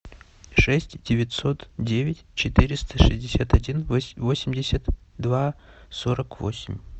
шесть девятьсот девять четыреста шестьдесят один восемьдесят два сорок восемь